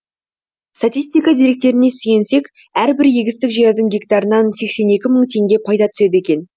статистика деректеріне сүйенсек әрбір егістік жердің гектарынан сексен екі мың теңге пайда түседі екен